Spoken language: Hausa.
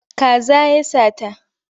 Kaza ya sata.